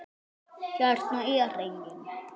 Hérna er enginn.